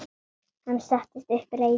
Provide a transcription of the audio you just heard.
Hann settist upp, reiður.